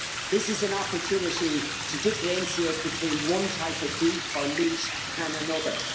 This is an opportunity to differentiate between one type of beef or meat and another.